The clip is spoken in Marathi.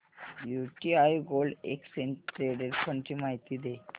UTI gold exchange traded fund ची माहिती दे